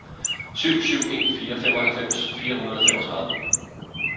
syv syv en fire femoghalvfems fire hundrede og femogtredive